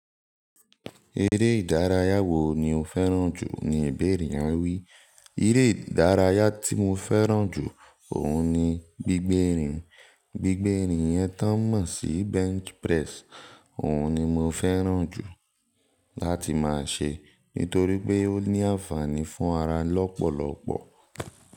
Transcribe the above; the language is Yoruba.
"Eré ìdárayá wo ni o fẹ́ràn jù?" Ni ibeère yẹn wí. "Eré ìdárayá tí mo fẹ́ràn jù, òun ni gbígbérin. Gbígbérin yẹn tó ń mọ̀ sí bench press, òun ni mo fẹ́ràn jù láti máa ṣe. Nítorí pé ó ní àǹfààní fún ara lọ́pọ̀lọ́pọ̀."